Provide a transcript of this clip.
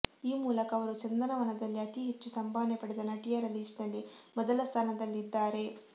ಈ ಮೂಲಕ ಅವರು ಚಂದನವನದಲ್ಲಿ ಅತಿ ಹೆಚ್ಚು ಸಂಭಾವನೆ ಪಡೆದ ನಟಿಯರ ಲಿಸ್ಟ್ ನಲ್ಲಿ ಮೊದಲ ಸ್ಥಾನದಲ್ಲಿದ್ದಾರೆ